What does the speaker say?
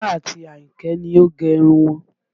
Tọ́lá àti Àyìnkẹ́ ni ó gẹ irun wọn